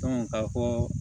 ka fɔ ko